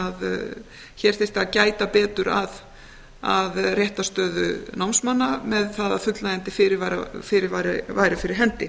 hér þyrfti að gæta betur að réttarstöðu námsmanna með það að fullnægjandi fyrirvari væri fyrir hendi